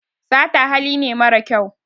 sata hali ne mara kyau